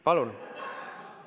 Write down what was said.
Palun!